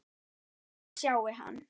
Ég sjái hann.